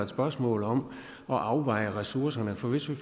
spørgsmål om at afveje ressourcerne for hvis vi